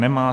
Nemá.